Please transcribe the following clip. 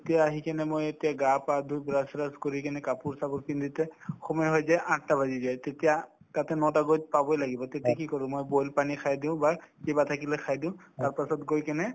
তেতিয়া আহি কিনে মই এতিয়া গা পা ধুই brush চ্ৰাচ কৰি কিনে কাপোৰ-চাপোৰ পিন্ধোতে সময় হৈ যায় আঠটা বাজি যায় তেতিয়া তাতে নটা বজাত পাবই লাগিব তেতিয়া কি কৰো মই boil পানী খাই দিও কিবা থাকিলে খাই দিও তাৰপাছত গৈ কিনে